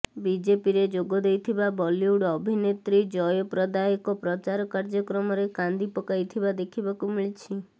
ବିଜେପିରେ ଯୋଗଦେଇଥିବା ବଲିଉଡ ଅଭିନେତ୍ରୀ ଜୟପ୍ରଦା ଏକ ପ୍ରଚାର କାର୍ଯ୍ୟକ୍ରମରେ କାନ୍ଦି ପକାଇଥିବା ଦେଖିବାକୁ ମିଳିଛି